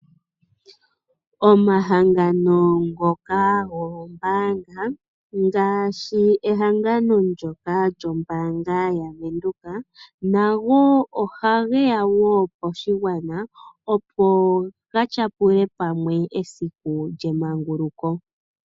Omahangano ngoka goombaanga, ngashi ehangano ndyoka lyombaanga yaVenduka, nago oha geya wo poshigwana, opo ga tyapule pamwe esiku lyemanguluko.